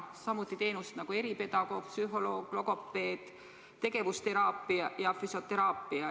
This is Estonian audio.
Samuti saaks ta eripedagoogi, psühholoogi ja logopeedi teenust, tegevusteraapiat ja füsioteraapiat.